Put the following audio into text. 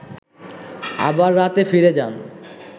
আবার রাতে ফিরে যান